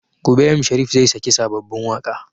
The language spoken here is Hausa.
Gobe m Sharif zai sake sababbin waƙa